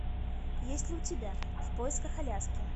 есть ли у тебя в поисках аляски